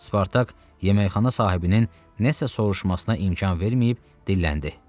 Spartak yeməkxana sahibinin nəsə soruşmasına imkan verməyib dilləndi.